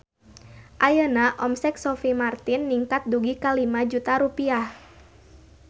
Ayeuna omset Sophie Martin ningkat dugi ka 5 juta rupiah